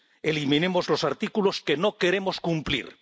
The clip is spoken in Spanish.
Eliminemos los artículos que no queremos cumplir.